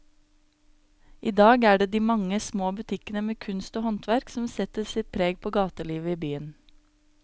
I dag er det de mange små butikkene med kunst og håndverk som setter sitt preg på gatelivet i byen.